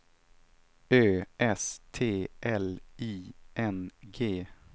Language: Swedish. Ö S T L I N G